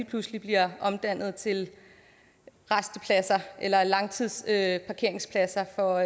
pludselig bliver omdannet til rastepladser eller langtidsparkeringspladser for